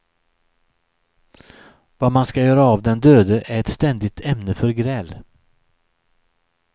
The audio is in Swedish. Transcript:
Vad man ska göra av den döde är ett ständigt ämne för gräl.